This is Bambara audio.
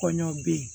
Kɔɲɔ bɛ yen